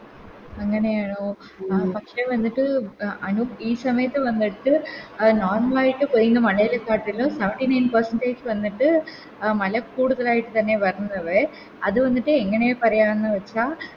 അങ്ങനെയണോ ആ പക്ഷെ വന്നിട്ട് അനു ഈ സമയത്ത് വന്നിട്ട് അഹ് Normal ആയിട്ട് പെയ്യ്ന്ന മളയില് വന്നിട്ട് മലക്കൂടുതലയിട്ട് തന്നെ വരുന്നത് അത് വന്നിട്ട് എങ്ങനെ പറയാന്ന് വെച്ച